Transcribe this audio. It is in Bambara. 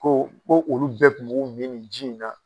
Ko olu bɛɛ tun b'u min nin ji in na.